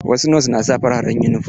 Wasu nos na sa fararen yunifom.